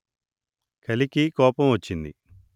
కలికి కోపం వచ్చింది